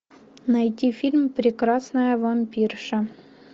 найти фильм прекрасная вампирша